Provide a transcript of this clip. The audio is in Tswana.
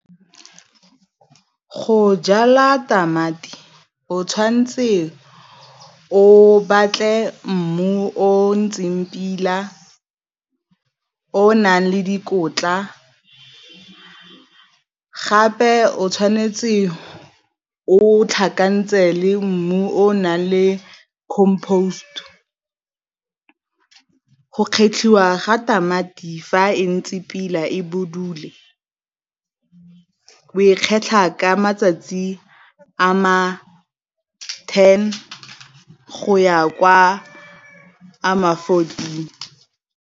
Go jala tamati o tshwan'tse o batle mmu o o ntseng pila, o nang le dikotla, gape o tshwanetse o tlhakantshe le mmu o o nang le . Go kgetlhiwa ga tamati fa e ntse pila e budule, o e kgetlha ka matsatsi a ma ten go ya kwa a ma fourteen.